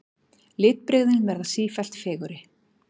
Litbrigðin verða sífellt fegurri.